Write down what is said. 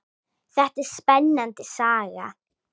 Þetta er spennandi saga.